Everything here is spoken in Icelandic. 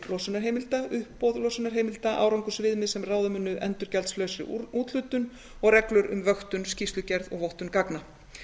losunarheimilda uppboð losunarheimilda árangursviðmið sem ráða munu endurgjaldslausri úthlutun og reglur m vöktun skýrslugerð og vottun gagna